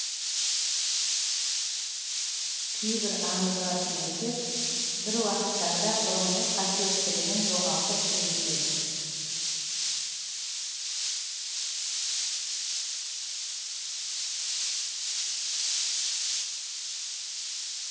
кейбір аңызға сүйенсек бір уақыттарда бұрынғы қасиеттілігін жоғалтыпты деседі